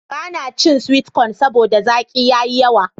Ba na cin sweet cone saboda zaki ya yi yawa.